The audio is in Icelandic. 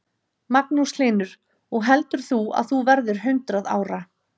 Magnús Hlynur: Og heldur þú að þú verðir hundrað ára?